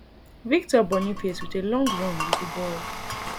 victor boniface wit a long run wit di ball